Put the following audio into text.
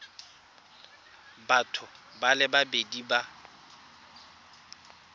batho ba le babedi ba